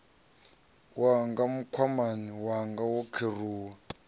wanga mukhwama wanga wo kheruwa